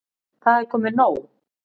Það er komið nóg.